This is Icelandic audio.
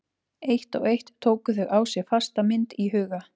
Eitt og eitt tóku þau á sig fasta mynd í huga